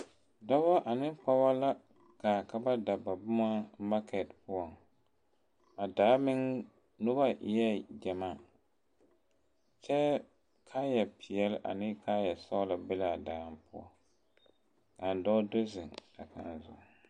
Dɔba ane pɔgeba la gaa ka ba da ba boma makɛte poɔ a daa meŋ noba eɛ gyamaa kyɛ kaayapeɛle ane kaayasɔglɔ be la a daa poɔ a dɔɔ do zeŋ a kaŋa zu.